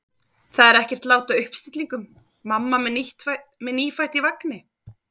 Það er ekkert lát á uppstillingum: mamma með nýfætt í vagni.